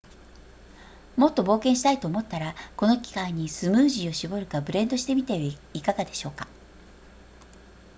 もっと冒険したいと思ったらこの機会にスムージーを絞るかブレンドしてみてはいかがでしょうか